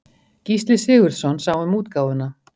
Gísli Sigurðsson sá um útgáfuna.